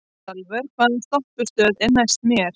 Salvör, hvaða stoppistöð er næst mér?